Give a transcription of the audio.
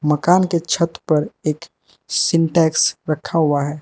मकान के छत पर एक सिंटेक्स रखा हुआ है।